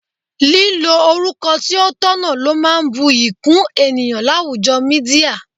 Lílo orúkọ tí ó tọ̀nà ló máa ń bu'yi kún ènìyàn láwùjọ Mídíà.